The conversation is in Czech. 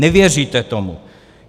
Nevěříte tomu.